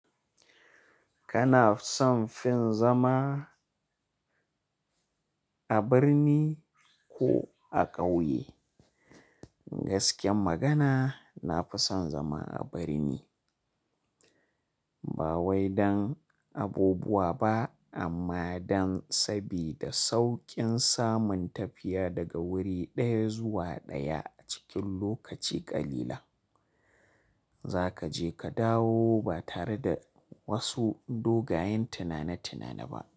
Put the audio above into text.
Kana son fin zama a birni ko a ƙauye? Gaskiyar magana, na fi son zama a birni. Ba wai don abubuwa ba amma don sabida sauƙin samun tafiya daga wuri ɗaya zuwa ɗaya a cikin lokaci ƙalilan. Za ka je ka dawo ba tare da wasu dogayen tunani-tunani ba.